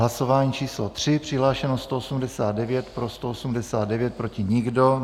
Hlasování číslo 3, přihlášeno 189, pro 189, proti nikdo.